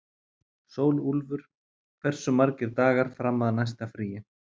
Sólúlfur, hversu margir dagar fram að næsta fríi?